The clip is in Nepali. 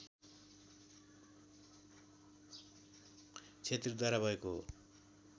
छेत्रीद्वारा भएको हो